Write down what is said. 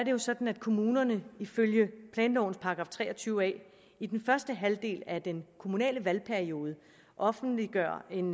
jo sådan at kommunerne ifølge planlovens § tre og tyve a i den første halvdel af den kommunale valgperiode offentliggør en